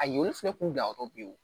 A ɲɔ fɛnɛ kun bila yɔrɔ bi